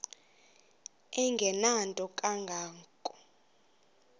engenanto kanga ko